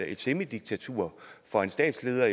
et semidiktatur for en statsleder